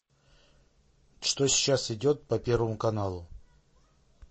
что сейчас идет по первому каналу